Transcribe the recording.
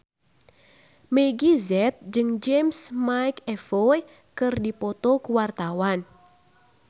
Meggie Z jeung James McAvoy keur dipoto ku wartawan